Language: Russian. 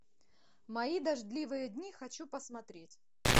мои дождливые дни хочу посмотреть